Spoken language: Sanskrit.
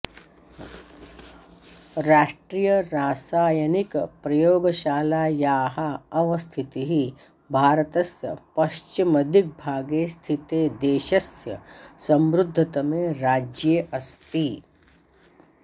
राष्ट्रियरासायनिकप्रयोगशालायाः अवस्थितिः भारतस्य पश्चिमदिग्भागे स्थिते देशस्य समृद्धतमे राज्ये अस्ति